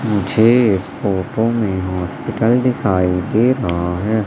मुझे इस फोटो में हॉस्पिटल दिखाई दे रहा है।